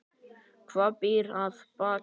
Hvað býr að baki?